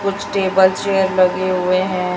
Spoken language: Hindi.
कुछ टेबल चेयर लगे हुए हैं।